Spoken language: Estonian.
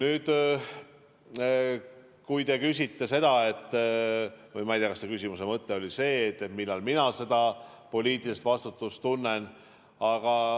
Ma ei tea, kas teie küsimuse mõte oli see, millal mina seda poliitilist vastutust tunnen.